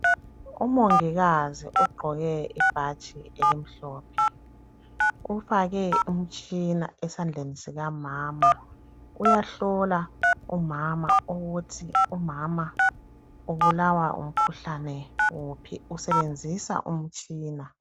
Umongikazi ugqoke ibhatshi elimhlophe ufake umtshina esandleni sikamama. Uyahlola umama ukuthi ubulawa ngumkhuhlane wuphi esebenzisa umtshina.